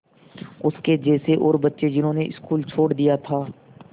उसके जैसे और बच्चे जिन्होंने स्कूल छोड़ दिया था